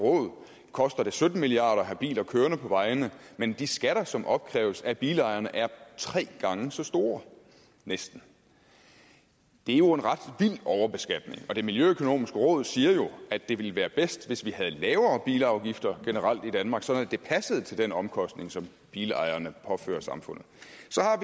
råd koster det sytten milliard kroner at have biler kørende på vejene men de skatter som opkræves af bilejerne er tre gange så store næsten det er jo en ret vild overbeskatning og det miljøøkonomiske råd siger at det ville være bedst hvis vi generelt havde lavere bilafgifter i danmark sådan at det passede til den omkostning som bilejerne påfører samfundet